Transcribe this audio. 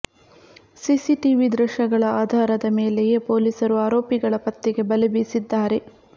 CCTV ದೃಶ್ಯಗಳ ಅಧಾರದ ಮೇಲೆಯೇ ಪೊಲೀಸರು ಆರೋಪಿಗಳ ಪತ್ತೆಗೆ ಬಲೆ ಬೀಸಿದ್ದಾರೆ